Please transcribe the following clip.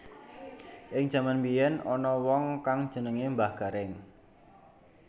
Ing jaman mbiyén ana wong kang jenengané Mbah Garéng